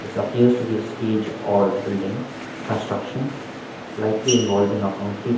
it appears to be a stage or building construction likely involving a concrete.